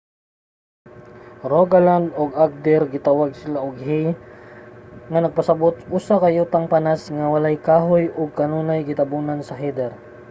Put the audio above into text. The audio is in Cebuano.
sa rogaland ug agder gitawag sila og hei nga nagpasabut usa ka yutang panas nga walay kahoy ug kanunay gitabonan sa heather